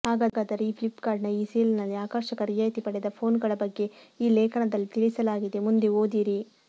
ಹಾಗಾದರೇ ಫ್ಲಿಪ್ಕಾರ್ಟ್ನ ಈ ಸೇಲ್ನಲ್ಲಿ ಆಕರ್ಷಕ ರಿಯಾಯಿತಿ ಪಡೆದ ಫೋನ್ಗಳ ಬಗ್ಗೆ ಈ ಲೇಖನದಲ್ಲಿ ತಿಳಿಸಲಾಗಿದೆ ಮುಂದೆ ಓದಿರಿ